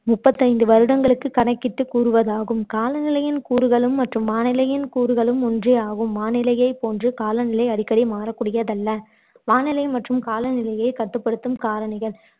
முப்பத்தைந்து வருடங்களுக்கு கணக்கிட்டு கூறுவதாகும் காலநிலையின் கூறுகளும் மற்றும் வானிலையின் கூறுகளும் ஒன்றே ஆகும் வானிலையைப் போன்று காலநிலை அடிக்கடி மாறக்கூடியதல்ல வானிலை மற்றும் காலநிலையை கட்டுப்படுத்தும் காரணிகள்